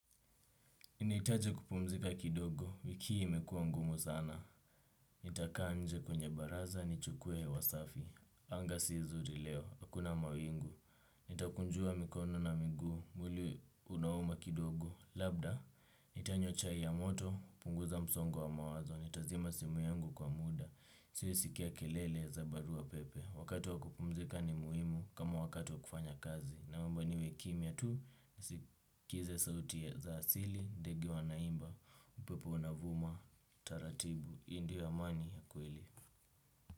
Ninaitaji kupumzika kidogo, wiki imekuwa ngumu sana. Nitakaa nje kwenye baraza, ni chukue wasafi. Anga si zuri leo, hakuna mawingu. Nitakunjua mikono na miguu, mwili unauma kidogo. Labda, nitanywa chai ya moto, punguza msongo wa mawazo. Nitazima simu yangu kwa muda, siisikia kelele za barua pepe. Wakati wakupumzika ni muimu, kama wakatu wakufanya kazi. Na mamba niwe kimia tu, kize sauti za asili, ndege wa naimba, upepo na vuma, taratibu, hii ndio wa mani ya kwele.